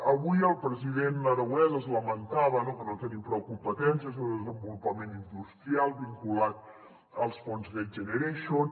avui el president aragonès es lamentava no que no tenim prou competències de desenvolupament industrial vinculat als fons next generation